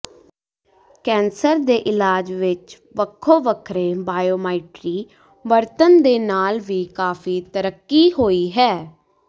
cancer ਦੇ ਇਲਾਜ ਵਿਚ ਵੱਖੋ ਵੱਖਰੇ ਬਾਇਓਮਾਇਟਰੀ ਵਰਤਣ ਦੇ ਨਾਲ ਵੀ ਕਾਫੀ ਤਰੱਕੀ ਹੋਈ ਹੈ